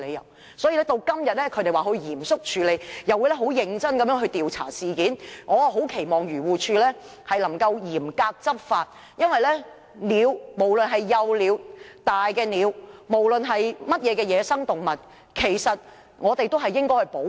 現時，漁護署表示會嚴肅處理並認真調查事件，我很期望它能夠嚴格執法，因為無論是幼鳥、大鳥或任何野生動物，我們都應該予以保護。